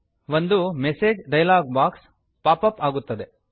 ಒಂದು message dialog box pop up ಆಗುತ್ತದೆ